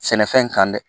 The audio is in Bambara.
Sɛnɛfɛn kan dɛ